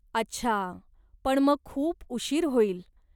अच्छा, पण मग खूप उशीर होईल.